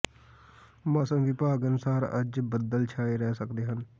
ਮੌਸਮ ਵਿਭਾਗ ਅਨੁਸਾਰ ਅੱਜ ਬਦਲ ਛਾਏ ਰਹਿ ਸਕਦੇ ਹਨ